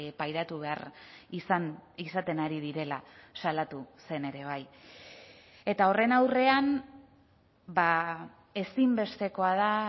pairatu behar izaten ari direla salatu zen ere bai eta horren aurrean ezinbestekoa da